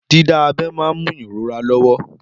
Dídá abẹ́ máa ń mú ìrora lọ́wọ́.